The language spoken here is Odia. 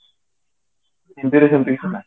ହିନ୍ଦୀରେ ସେମିତି କିଛି ନାହିଁ